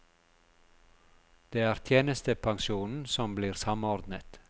Det er tjenestepensjonen som blir samordnet.